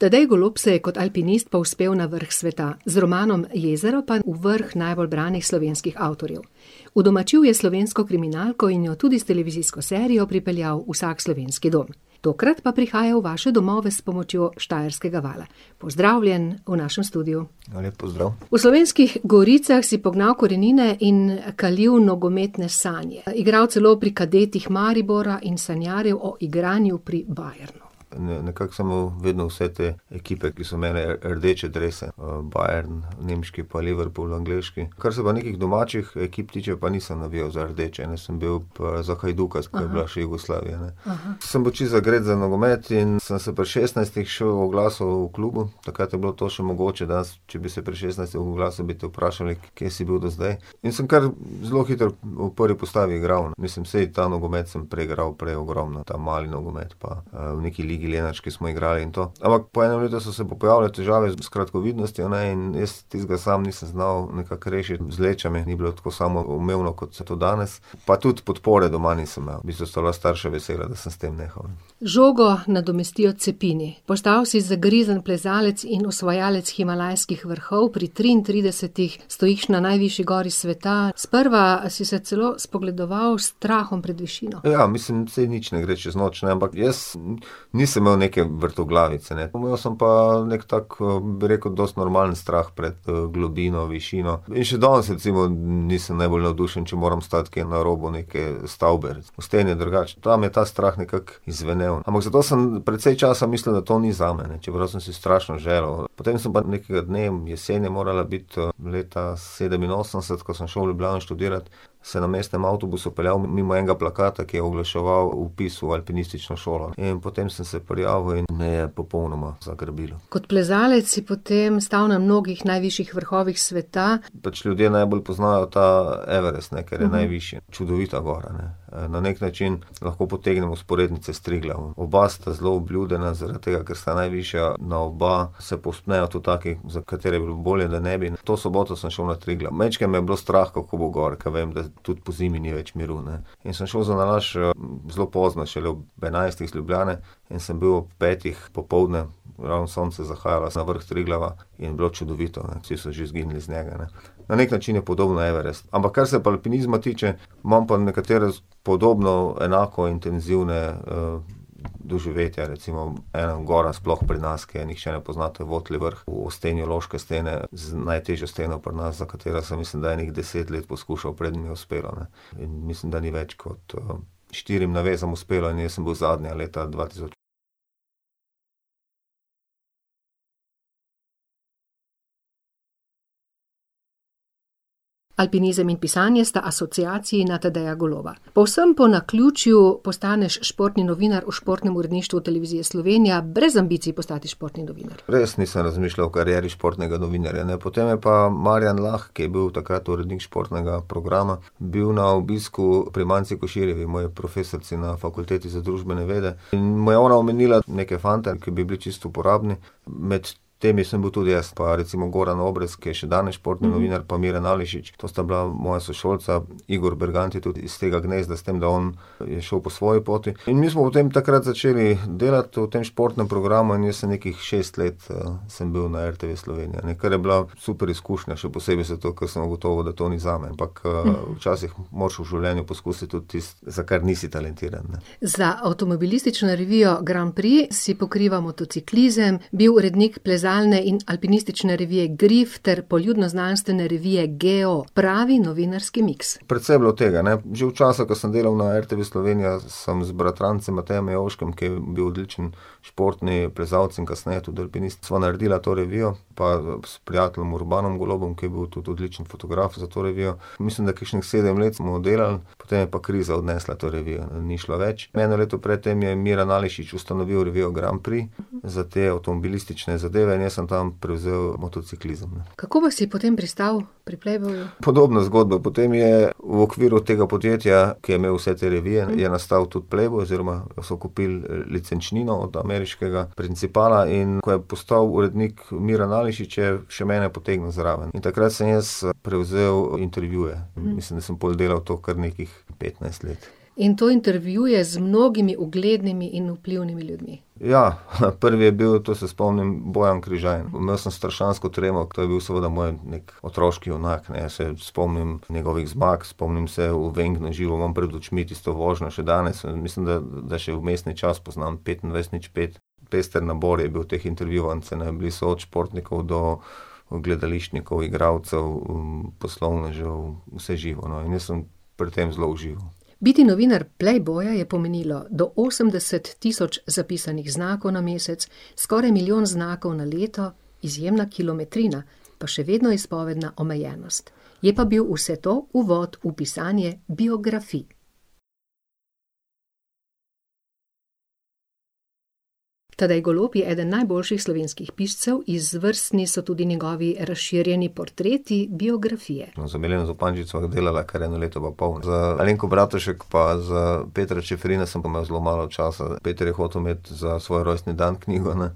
Tadej Golob se je kot alpinist povzpel na vrh sveta. Z romanom Jezero pa vrh najbolj branih slovenskih avtorjev. Udomačil je slovensko kriminalko in jo tudi s televizijsko serijo pripeljal v vsak slovenski dom. Tokrat pa prihaja v vaše domove s pomočjo Štajerskega vala. Pozdravljen v našem studiu. Lep pozdrav. V Slovenskih goricah si pognal korenine in kalil nogometne sanje. Igral celo pri kadetih Maribora in sanjaril o igranju pri Bayernu. nekako sem imel vedno vse te ekipe, ki so imele rdeče drese, Bayern, nemški, pa Liverpool, angleški. Kar se pa nekih domačih ekip tiče, pa nisem navijal za rdeče, jaz sem bil pa za Hajduka, sploh ko je bila še Jugoslavija, ne. Sem bil čisto zagret za nogomet in sem se pri šestnajstih še oglasil v klubu, takrat je bilo to še mogoče, danes če bi se pri šestnajstih oglasil, bi te vprašali, kje si bil do zdaj, in sem kar zelo hitro v prvi postavi igral, mislim, saj ta nogomet sem preigral prej ogromno, ta mali nogomet pa, v neki ligi lenarški smo igrali, in to. Ampak po enem letu so se pojavile težave s kratkovidnostjo, ne, in jaz tistega samo nisem znal nekako rešiti z lečami, ni bilo tako samoumevno, kot se to danes, pa tudi podpore doma nisem imel. V bistvu sta bila starša vesela, da sem s tem nehal. Žogo nadomestijo cepini. Postal si zagrizen plezalec in osvajalec himalajskih vrhov, pri triintridesetih stojiš na najvišji gori sveta. Sprva si se celo spogledoval s strahom pred višino. Ja, mislim, saj nič ne gre čez noč, ne, ampak jaz nisem imel neke vrtoglavice, ne, pa imel sem pa neki tak, bi rekel dosti normalen strah pred, globino, višino. In še danes recimo, nisem najbolj navdušen, če moram stati kje na robu neke stavbe. V steni je drugače, tam je ta strah nekako izzvenel. Ampak zato sem precej časa mislil, da to ni zame, ne. Čeprav sem si strašno želel. Potem sem pa nekega dne, jesen je morala biti, leta sedeminosemdeset, ko sem šel v Ljubljano študirat, se na mestnem avtobusu peljal mimo enega plakata, ki je oglaševal vpis v alpinistično šolo. In potem sem se prijavil in me je popolnoma zagrabilo. Kot plezalec si potem stal na mnogih najvišjih vrhovih sveta. Pač ljudje najbolj poznajo ta Everest, ne, ker je najvišji. Čudovita gora, ne. na neki način lahko potegnemo vzporednice s Triglavom. Oba sta zelo obljudena zaradi tega, ker sta najvišja, na oba se povzpnejo tudi taki, za katere bi bilo bolje, da ne bi. To soboto sem šel na Triglav, majčkeno me je bilo strah, kako bo gor, ker vem, da tudi pozimi ni več miru, ne. In sem šel zanalašč, zelo pozno, šele ob enajstih iz Ljubljane, in sem bil ob petih popoldne, ko je ravno sonce zahajalo za vrh Triglava, in je bilo čudovito, ne. Vsi so že izginili z njega, ne. Na neki način je podoben Everest. Ampak kar se pa alpinizma tiče, imam pa nekatere podobno, enako intenzivna, doživetja, recimo ena gora sploh pri nas, ki je nihče ne pozna, to je Votli vrh v steni loške stene, z najtežjo steno pri nas, za katero sem, mislim, ene deset let poskušal, preden je uspelo, ne. In mislim, da ni več kot, štirim navezam uspelo, in jaz sem bil zadnja leta dva tisoč. Alpinizem in pisanje sta asociaciji na Tadeja Goloba. Povsem po naključju postaneš športni novinar v športnem uredništvu Televizije Slovenija, brez ambicij postati športni novinar. Res nisem razmišljal o karieri športnega novinarja, ne, potem je pa Marjan Lah, ki je bil takrat urednik športnega programa, bil na obisku pri Manci Koširjevi, moji profesorici na Fakulteti za družbene vede. In mu je ona omenila neke fante, ki bi bili čisto uporabni, med temi sem bil tudi jaz, pa recimo Goran Obrez, ki je še danes športni novinar, pa Miran Ališič, to sta bila moja sošolca. Igor Bergant je tudi s tega gnezda, s tem da on je šel po svoji poti. In mi smo potem takrat začeli delati v tem športnem programu in jaz sem nekih šest let, sem bil na RTV Slovenija, ne. Kar je bila super izkušnja, še posebej zato, ker sem ugotovil, da to ni zame, ampak, včasih moraš v življenju poskusiti tudi tisto, za kar nisi talentiran, ne. Za avtomobilistično revijo Grand Prix si pokrival motociklizem, bil urednik plezalne in alpinistične revije Grif ter poljudnoznanstvene revije Geo. Pravi novinarski miks. Predvsem je bilo tega, ne. Že v času, ko sem delal na RTV Slovenija, sem z bratrancem [ime in priimek] , ki je bil odličen športni plezalec in kasneje tudi alpinist, sva naredila to revijo, pa, s prijateljem Urbanom Golobom, ki je bil tudi odličen fotograf za to revijo, mislim, da kakšnih sedem let smo delali, potem je pa kriza odnesla to revijo, ne. Ni šlo več, eno leto pred tem je Miran Ališič ustanovil revijo Grand Prix za te avtomobilistične zadeve, in jaz sem tam prevzel motociklizem. Kako pa si potem pristal pri Playboyu? Podobna zgodba, potem je v okviru tega podjetja, ki je imel vse te revije, je nastal tudi Playboy oziroma so kupili licenčnino od ameriškega principala, in ko je postal urednik Miran Ališič, je še mene potegnil zraven. In takrat sem jaz prevzel intervjuje. Mislim, da sem pol delal to kar nekih petnajst let. In to intervjuje z mnogimi uglednimi in vplivnimi ljudmi. Ja, prvi je bil, to se spomnim, Bojan Križaj. Imel sem strašansko tremo, ker je bil seveda moj otroški junak, ne, jaz se spomnim njegovih zmag, spomnim se v Wengnu, v živo imam pred očmi tisto vožnjo še danes, mislim da, da še vmesni čas poznam, petindvajset nič pet. Pester nabor je bil teh intervjuvancev, ne, bili so od športnikov do gledališčnikov, igralcev, poslovnežev, vse živo, no, in jaz sem pri tem zelo užival. Biti novinar Playboya je pomenilo: do osemdeset tisoč zapisanih znakov na mesec, skoraj milijon znakov na leto, izjemna kilometrina. Pa še vedno izpovedna omejenost. Je pa bil vse to uvod v pisanje biografij. Tadej Golob je eden najboljših slovenskih piscev, izvrstni so tudi njegovi razširjeni potreti - biografije. To za Mileno Zupančič sva delala kar eno leto pa pol. Za Alenko Bratušek pa za Petra Čeferina sem pa imel zelo malo časa, Peter je hotel imeti za svoj rojstni dan knjigo, ne.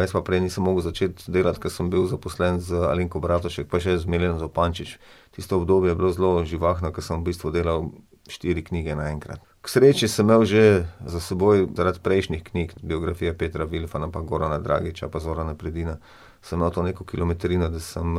jaz pa prej nisem mogel začeti delati, ker sem bil zaposlen z Alenko Bratušek pa še z Mileno Zupančič. Tisto obdobje je bilo zelo živahno, ko sem v bistvu delal štiri knjige naenkrat. K sreči sem imel že za seboj zaradi prejšnjih knjig, biografije Petra Vilfana pa Gorana Dragića pa Zorana Predina, sem imel to neko kilometrino, da sem,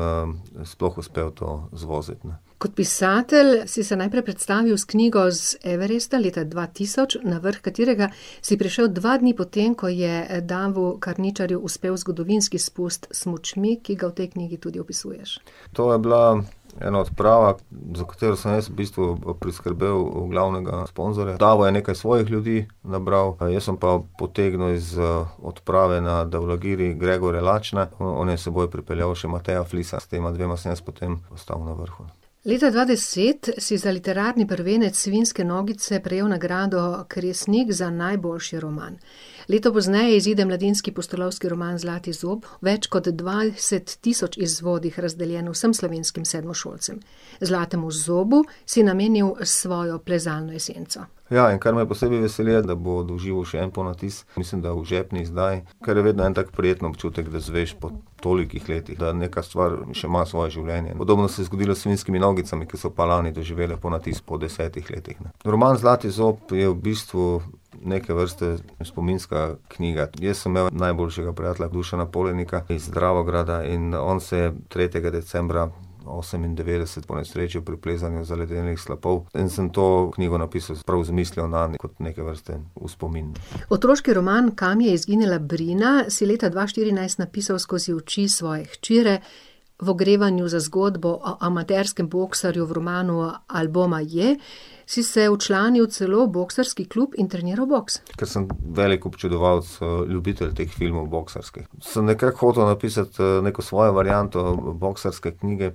sploh uspel to zvoziti, ne. Kot pisatelj si se najprej predstavil s knjigo Z Everesta, leta dva tisoč, na vrh katerega si prišel dva dni potem, ko je Davu Karničarju uspel zgodovinski spust s smučmi, ki ga v tej knjigi tudi opisuješ. To je bila ena odprava, za katero sem jaz v bistvu, priskrbel, glavnega sponzorja, Davo je nekaj svojih ljudi nabral, jaz sem pa potegnil iz, odprave na Daulagiri Gregorja Lačna, no, on je s seboj pripeljal še Mateja Flisa, s tema dvema sem jaz potem stal na vrhu. Leta dva deset si za literarni prvenec Svinjske nogice prejel nagrado kresnik za najboljši roman. Leto pozneje izide mladinski pustolovski roman Zlati zob, v več kot dvajset tisoč izvodih razdeljeno vsem slovenskim sedmošolcem. Zlatemu zobu si namenil svojo plezalno esenco. Ja, in kar me posebej veseli, je, da bo doživel še en ponatis. Mislim, da v žepni izdaji. Kar je vedno en tak prijeten občutek, da izveš po tolikih letih, da neka stvar še ima svoje življenje. Podobno se je zgodilo s Svinjskimi nogicami, ki so pa lani doživele ponatis po desetih letih. Roman Zlati zob je v bistvu neke vrste spominska knjiga. Jaz sem imel najboljšega prijatelja Dušana Polenika iz Dravograda in on se je tretjega decembra osemindevetdeset ponesrečil pri plezanju zaledenelih slapov. In sem to knjigo napisal prav z mislijo nanj, kot neke vrste v spomin. Otroški roman Kam je izginila Brina? si leta dva štirinajst napisal skozi oči svoje hčere. V ogrevanju za zgodbo o amaterskem boksarju v romanu Ali boma ye! si se včlanil celo v boksarski klub in trenirali boks. Ker sem velik občudovalec, ljubitelj teh filmov boksarskih, sem nekako hotel napisati, neko svojo varianto boksarske knjige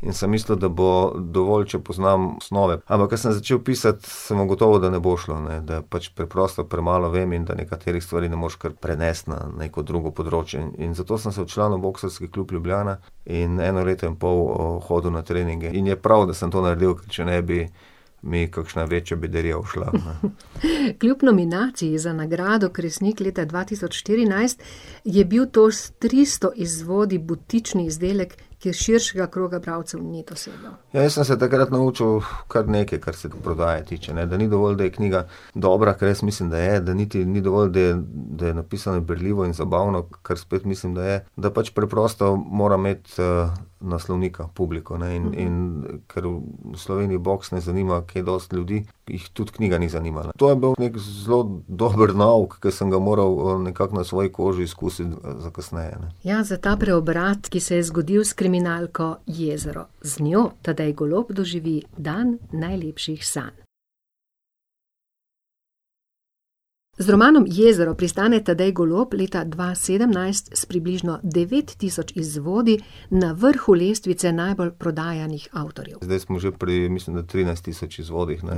in sem mislil, da bo dovolj, če poznam osnove. Ampak ko sem začel pisati, sem ugotovil, da ne bo šlo, ne. Da pač preprosto premalo vem in da nekaterih stvari ne moreš kar prenesti na neko drugo področje. In zato sem se včlanil v Boksarski klub Ljubljana in eno leto in pol hodil na treninge. In je prav, da sem to naredil, če ne bi mi kakšna večja bedarija ušla, a ne. Kljub nominaciji za nagrado Kresnik leta dva tisoč štirinajst je bil to s tristo izvodi butični izdelek, ki širšega kroga bralcev ni dosegel. Ja, jaz sem se takrat naučil kar nekaj, kar se prodaje tiče, ne. Da ni dovolj, da je knjiga dobra, ke jaz mislim, da je, da niti ni dovolj, da je, da je napisana berljivo in zabavno, kar spet mislim, da je, da pač preprosto mora imeti, naslovnika, publiko, ne. In, in ker v Sloveniji boks ne zanima kaj dosti ljudi, jih tudi knjiga ni zanimala. To je bil neki zelo dober nauk, ki sem ga moral, nekako na svoji koži izkusiti za kasneje, ne. Ja, za ta preobrat, ki se je zgodil s kriminalko Jezero. Z njo Tadej Golob doživi dan najlepših sanj. Z romanom Jezero pristane Tadej Golob leta dva sedemnajst s približno devet tisoč izvodi na vrhu lestvice najbolj prodajanih avtorjev. Zdaj smo že pri, mislim, da trinajst tisoč izvodih, ne.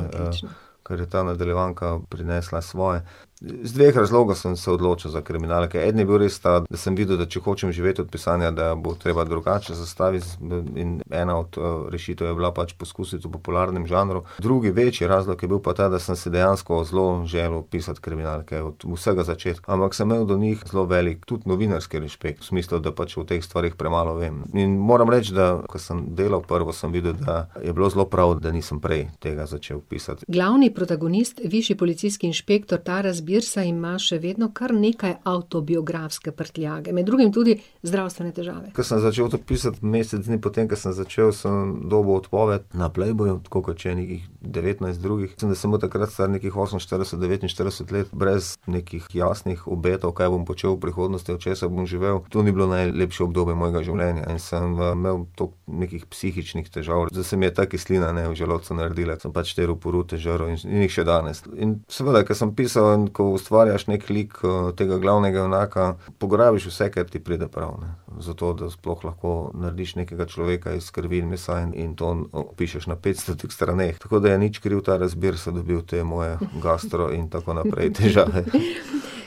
Ker je ta nadaljevanka prinesla svoje. Iz dveh razlogov sem se odločil za kriminalke, en je bil res ta, da sem videl, da če hočem živeti od pisanja, da bo treba drugače zastaviti, dati, in ena od rešitev je bila pač poskusiti v popularnem žanru. Drugi, večji razlog je pa bil pa ta, da sem se dejansko zelo želel pisati kriminalke, od vsega začetka. Ampak sem imel do njih zelo velik, tudi novinarski rešpekt. V smislu, da pač o teh stvareh premalo vem. In, moram reči, da, ko sem delal prvo, sem videl, da je bilo zelo prav, da nisem prej tega začel pisati. Glavni protagonist, višji policijski inšpektor Taras Birsa, ima še vedno kar nekaj avtobiografske prtljage. Med drugim tudi zdravstvene težave. Ko sem začel to pisati, mesec dni po tem, ko sem začel, sem dobil odpoved na Playboyu, tako kot še ene devetnajst drugih. S tem, da sem bil takrat star nekih oseminštirideset, devetinštirideset let, brez nekih jasnih obetov, kaj bom počel v prihodnosti, od česa bom živel, to ni bilo najlepše obdobje mojega življenja. In sem v imel toliko nekih psihičnih težav, da se mi je ta kislina, ne, v želodcu naredila, sem pač te rupurute žrl, in jih še danes. In seveda, ko sem pisal in ko ustvarjaš neki lik, tega glavnega junaka, pograbiš vse, kar ti pride prav, ne. Zato, da sploh lahko narediš nekega človeka iz krvi in mesa in to opišeš na petstotih straneh. Tako da je nič krivi Taras Birsa dobil te moje gastro in tako naprej težave. Da le zakaj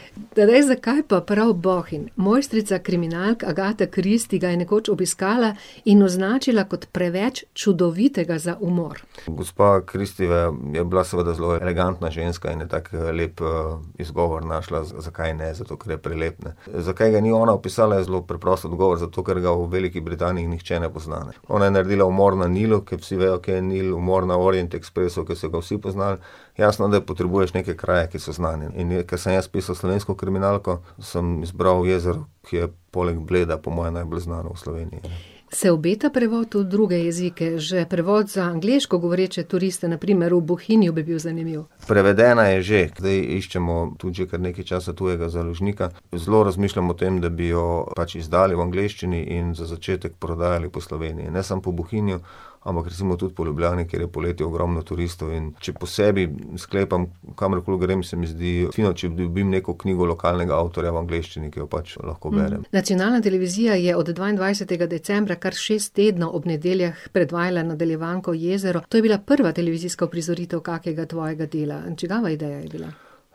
pa prav Bohinj? Mojstrica kriminalk Agatha Christie ga je nekoč obiskala in označila kot preveč čudovitega za umor. Gospa Christiejeva je, je bila seveda zelo elegantna ženska in je tako lep, izgovor našla, zakaj ne, zato ker je prelep, ne. zakaj ga ni ona opisala, je zelo preprost odgovor, zato ker ga v Veliki Britaniji nihče ne pozna, ne. Ona je naredila umor na Nilu, ker vsi vejo, kje je Nil, umor na Orient Expressu, ke so ga vsi poznali, jasno, da potrebuješ neke kraje, ki so znani. In ko sem jaz pisal slovensko kriminalko, sem izbral jezero, ki je poleg Bleda po moje najbolj znano v Sloveniji, ne. Se obeta prevod v druge jezike? Že prevod za angleško govoreče turiste, na primer v Bohinju, bi bil zanimiv. Prevedena je že. Zdaj iščemo tudi že kar nekaj časa tujega založnika. Zelo razmišljam o tem, da bi jo pač izdali v angleščini in za začetek prodajali po Sloveniji. Ne samo po Bohinju, ampak recimo tudi po Ljubljani, kjer je poleti ogromno turistov, in če po sebi sklepam, kamor koli grem, se mi zdi fino, če dobim neko knjigo lokalnega avtorja v angleščini, ki jo pač lahko berem. Nacionalna televizija je od dvaindvajsetega decembra kar šest tednov ob nedeljah predvajala nadaljevanko Jezero. To je bila prva televizijska uprizoritev kakega tvojega dela. Čigava ideja je bila?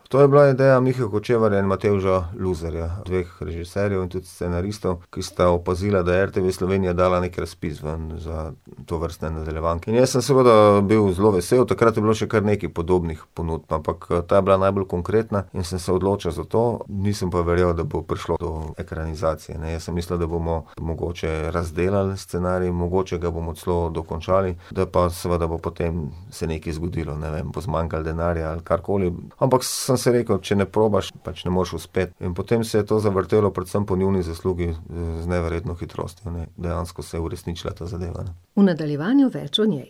To je bila ideja Mihe Hočevarja in Matevža Luzerja. Dveh režiserjev in tudi scenaristov, ki sta opazila, da je RTV Slovenija dala neki razpis ven za tovrstne nadaljevanke. In jaz sem seveda bil zelo vesel, takrat je bilo še kar nekaj podobnih ponudb, ampak ta je bila najbolj konkretna, in sem se odločil za to, nisem pa verjel, da bo prišlo do ekranizacije, ne, jaz sem mislil, da bomo mogoče razdelali scenarij, mogoče ga bomo celo dokončali, da pa seveda bo potem se nekaj zgodilo, ne, bo zmanjkalo denarja ali karkoli. Ampak sem si rekel, če ne probaš, pač ne moreš uspeti. In potem se je to zavrtelo predvsem po njuni zaslugi z neverjetno hitrostjo, ne. Dejansko se je uresničila ta zadeva, ne. V nadaljevanju več o njej.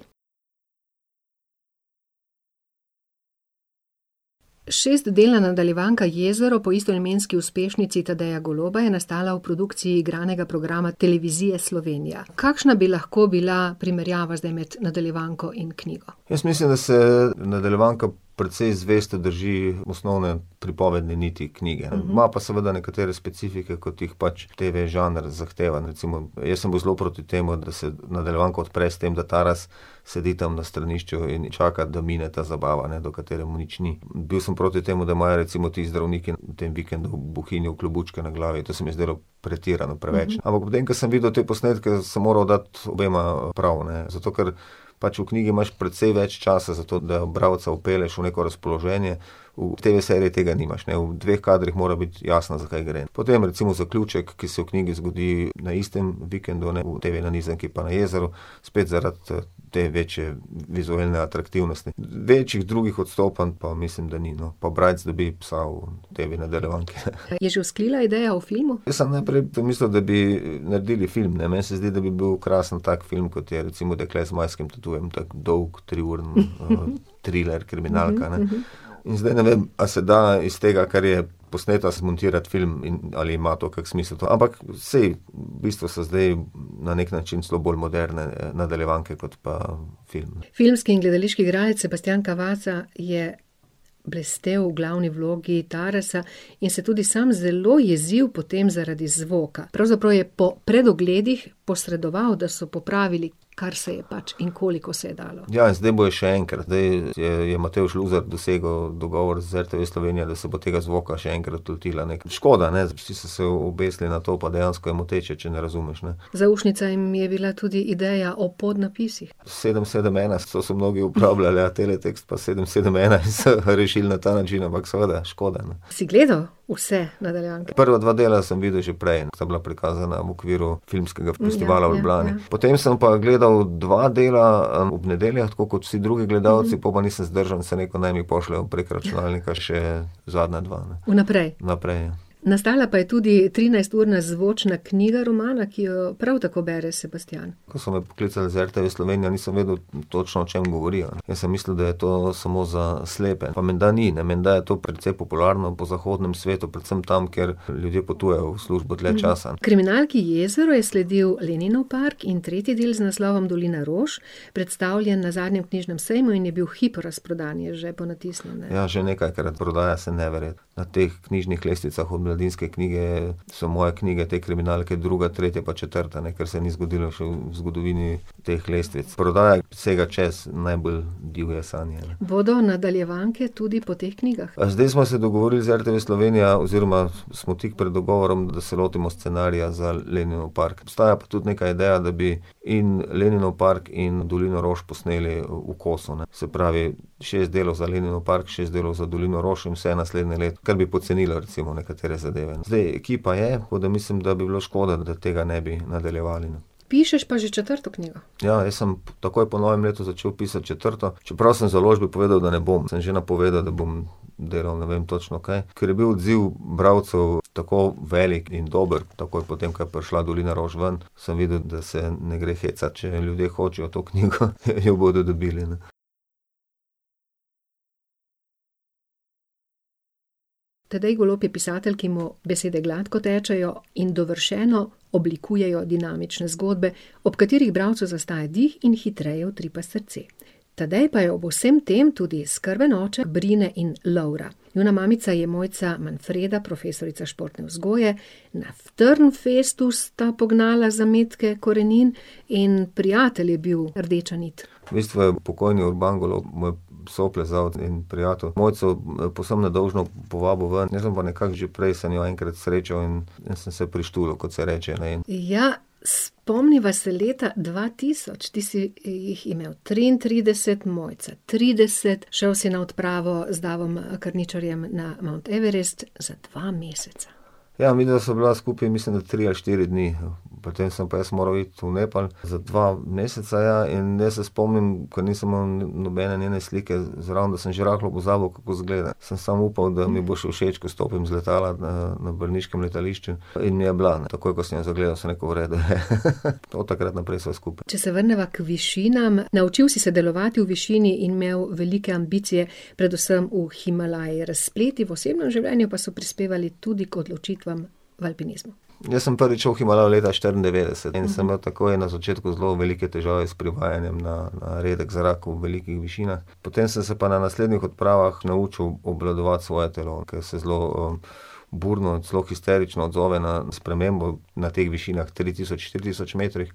Šestdelna nadaljevanka Jezero po istoimenski uspešnici Tadeja Goloba je nastala v produkciji igranega programa Televizije Slovenija. Kakšna bi lahko bila primerjava zdaj med nadaljevanko in knjigo? Jaz mislim, da se nadaljevanka precej zvesto drži osnovne pripovedne niti knjige, ne, ima pa seveda nekatere specifike, kot jih pač TV-žanr zahteva, recimo jaz sem bil zelo proti temu, da se nadaljevanka odpre s tem, da Taras sedi tam na stranišču in čaka, da mine ta zabava, ne, do katere mu nič ni. Bil sem proti temu, da imajo recimo ti zdravniki v tem vikendu v Bohinju klobučke na glavi, to se mi je zdelo pretirano, preveč. Ampak potem ko sem videl te posnetke, sem moral dati obema prav, ne. Zato ker pač v knjigi imaš precej več časa za to, da bralca vpelješ v neko razpoloženje, v TV-seriji tega nimaš, ne. V dveh kadrih mora biti jasno, za kaj gre. Potem recimo zaključek, ki se v knjigi zgodi na istem vikendu, ne, v TV-nanizanki pa na jezeru, spet zaradi, te večje vizualne atraktivnosti. Večjih drugih odstopanj pa mislim, da ni, no. Pa Brajc dobi psa v TV-nadaljevanki, je že uspela ideja o filmu? Jaz sem najprej to mislil, da bi naredili film, ne, meni se zdi, da bi bil krasen tak film, kot je recimo Dekle z zmajskim tatujem. Tak dolg triuren pa triler kriminalka, ne. In zdaj ne vem, a se da iz tega, kar je posneto, zmontirati film in ali ima to kako smisel, to, ampak saj, v bistvu so zdaj na neki način celo bolj moderne nadaljevanke kot pa filmi. Filmski in gledališki igralec Sebastijan Cavazza je blestel v glavni vlogi Tarasa in se tudi sam zelo jezil potem zaradi zvoka. Pravzaprav je po predogledih posredoval, da so popravili, kar se je pač in koliko se je dalo. Ja, zdaj bojo še enkrat, zdaj je Matevž Luzer dosegel dogovor z RTV Slovenija, da se bo tega zvoka še enkrat lotila, ne. Škoda, ne, vsi so se obesili na to, pa dejansko je moteče, če ne razumeš, ne. Zaušnica jim je bila tudi ideja o podnapisih. Sedem sedem ena, so vsi mnogi uporabljali, ja, teletekst, pa sedem sedem ena se je rešil na ta način, ampak seveda, škoda. Si gledal vse nadaljevanke? Prva dva dela sem videl že prej, ampak sta bila prikazana v okviru filmskega festivala v Ljubljani. ja, ja, ja. Potem sem pa gledal dva dela, ob nedeljah, tako kot vsi drugi gledalci, po pa nisem zdržal in sem rekel, naj mi pošljejo prek računalnika še zadnja dva. Vnaprej. Vnaprej. Nastala pa je tudi trinajsturna zvočna knjiga romana, ki jo prav tako bere Sebastijan. Ko so me poklicali z RTV Slovenija, nisem vedel točno, o čem govorijo. Jaz sem mislil, da je to samo za slepe, pa menda ni, ne, menda je to precej popularno po zahodnem svetu, predvsem tam, kjer ljudje potujejo v službo dlje časa. Kriminalki Jezero je sledil Leninov park in tretji del z naslovom Dolina rož, predstavljen na zadnjem knjižnem sejmu, in je bil v hipu razprodan, je že ponatisnjen. Ja, že nekajkrat, prodaja se neverjetno. Na teh knjižnih lestvicah v Mladinski knjigi so moje knjige, te kriminalke, druga, tretja pa četrta, ne. Kar se ni zgodilo še v zgodovini teh lestvic. Prodaja sega čez najbolj divje sanje. Bodo nadaljevanke tudi po teh knjigah? zdaj smo se dogovorili z RTV Slovenija oziroma smo tik pred dogovorom, da se lotimo scenarija za Leninov park. Obstaja pa tudi neka ideja, da bi in Leninov park in Dolino rož posneli v kosu, ne. Se pravi, šest delov za Leninov park, šest delov za Dolino rož, in vse naslednje leto. Ker bi pocenilo recimo nekatere zadeve. Zdaj, ekipa je, tako da mislim, da bi bilo škoda, da tega ne bi nadaljevali, ne. Pišeš pa že četrto knjigo. Ja, jaz sem takoj po novem letu začel pisati četrto, čeprav sem založbi povedal, da ne bom. Sem že napovedal, da bom delal ne vem točno kaj. Ker je bil odziv bralcev tako velik in dober takoj po tem, ko je prišla Dolina rož ven, sem videl, da se ne gre hecati. Če ljudje hočejo to knjigo, ne, jo bodo dobili. Tadej Golob je pisatelj, ki mu besede gladko tečejo in dovršeno oblikujejo dinamične zgodbe, ob katerih bralcem zastaja dih in hitreje utripa srce. Tadej pa je ob vsem tem tudi skrben oče Brine in Lovra. Njuna mamica je Mojca Manfreda, profesorica športne vzgoje. Na Trnfestu sta pognala zametke korenin in prijatelj je bil rdeča nit. V bistvu je pokojni Urban Golob, moj soplezalec in prijatelj, Mojco, povsem nedolžno povabil ven, jaz sem pa nekako že prej sem jo enkrat srečal in jaz sem se prištulil, kakor se reče, ne. Ja, spomniva se leta dva tisoč, ti si jih imel triintrideset, Mojca trideset, šel si na odpravo z Davom, Karničarjem na Mount Everest za dva meseca. Ja, midva sva bila skupaj, mislim, da tri ali štiri dni, potem sem pa jaz moral iti v Nepal za dva meseca, ja, in jaz se spomnim, ko nisem imel nobene njene slike zraven, sem že rahlo pozabil, kako izgleda. Sem samo upal, da mi bo še všeč, ke stopim z letala, na, na Brniškem letališču, in je bila. Takoj ko sem jo zagledal, sem rekel: "V redu je ." Od takrat naprej sva skupaj. Če se vrneva k višinam, naučil si se delovati v višini in imel velike ambicije, predvsem v Himalaji. Razpleti v osebnem življenju pa so prispevali tudi k odločitvam v alpinizmu. Jaz sem prvič šel v Himalajo leta štiriindevetdeset in sem imel takoj na začetku velike težave s privajanjem na, na redek zrak v velikih višinah, potem sem se pa na naslednjih odpravah naučil obvladovati svoje telo, ker se zelo, burno in zelo histerično odzove na spremembo na teh višinah, tri tisoč, štiri tisoč metrih.